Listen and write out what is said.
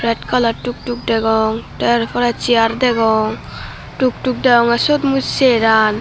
kala tuktuk degong tey ar por chair degong tuktuk degongey siyot mui seraan.